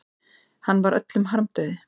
Hann var öllum harmdauði.